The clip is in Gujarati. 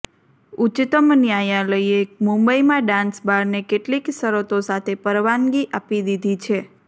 ઉચ્ચતમ્ ન્યાયાલયે મુંબઈમાં ડાન્સ બારને કેટલીક શરતો સાથે પરવાનગી આપી દિધી છે